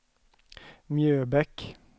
Mjöbäck